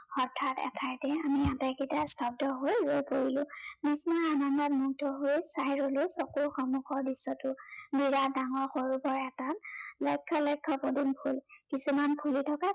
হঠাৎ এঠাইতে আমি আটাইকেইটা স্তব্ধ হৈ ৰৈ পৰিলো। বিস্ময় আনন্দত মুগ্ধ হৈচাই ৰলো চকুৰ সন্মুখৰ দৃশ্য়টো। বিৰাত ডাঙৰ সৰোবৰ এটাত লক্ষ্য় লক্ষ্য় পদুম ফুল। কিছুমান ফুলি থকা